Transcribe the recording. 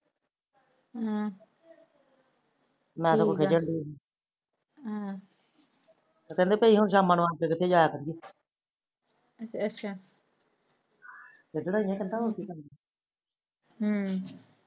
ਅਹ madam ਖਿਜਣ ਰਹੀ ਹਮ ਅੱਚਾ ਹਮ